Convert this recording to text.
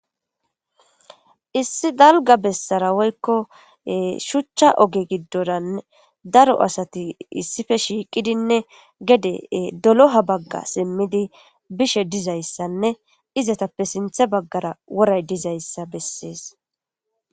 Issi dalga bessara woyikko shuchcha oge gidora daro asati issippe shiqidi gede doloha baga simidi bishshe dizayssann izetappe sinththe bagara woray dizayissa besses